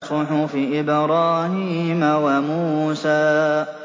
صُحُفِ إِبْرَاهِيمَ وَمُوسَىٰ